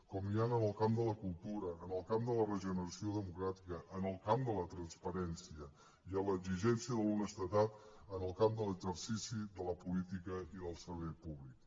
com n’hi han en el camp de la cultura en el camp de la regeneració democràtica en el camp de la transparència i en l’exigència de l’honestedat en el camp de l’exercici de la política i del servei públic